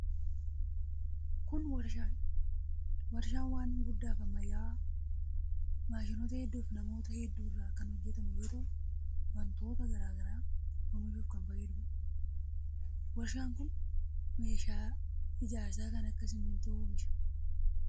Kun warshaa dha. Warshaan waan guddaa fi ammayyawaa maashinoota hedduu fi manoota hedduu irraa kan hojjatamu yoo ta'u, wantoota garaa garaa oomishuuf kan fayyaduu dha. Warshaan kun meeshaa ijaarsaa kan akka simintoo oomisha.